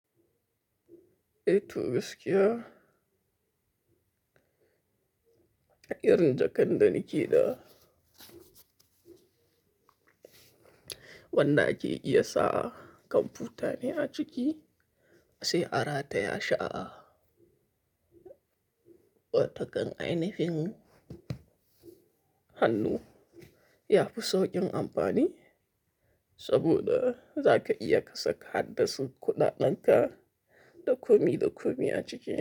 Eh toh gaskiya. Yanda kanda nake da. Wanda ake iya sa kanfutane a ciki sai a rataya shi a'a. Wa takan ainihin hannu yafi saukin amfani saboda zaka iya kasaka haddasu kuɗaɗen ka da komi da komi a ciki.